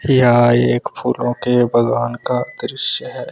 यह एक फूलों के बागान का दृश्य है।